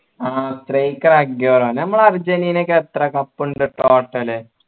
ആ striker Aguero നമ്മൾ അർജൻറീനക്ക് എത്ര cup ഉണ്ട് total